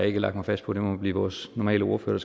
ikke lagt mig fast på det må blive vores normale ordfører